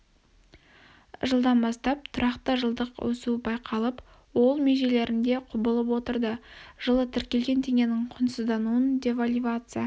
жылдан бастап тұрақты жылдық өсуі байқалып ол межелерінде құбылып отырды жылы тіркелген теңгенің құнсыздануынан девальвация